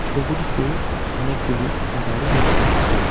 ছবুটিতে অনেকগুলি গাড়ি দেখা যাচ্ছে।